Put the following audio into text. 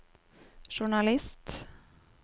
journalist